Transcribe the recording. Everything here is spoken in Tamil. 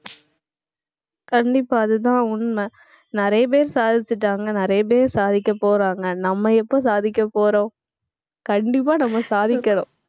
கண்டிப்பா அதுதான் உண்மை. நிறைய பேர் சாதிச்சுட்டாங்க. நிறைய பேர் சாதிக்கப் போறாங்க. நம்ம எப்ப சாதிக்கப் போறோம் கண்டிப்பா நம்ம சாதிக்கணும்